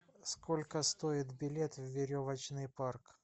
сколько стоит билет в веревочный парк